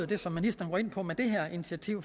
det som ministeren går ind på med det her initiativ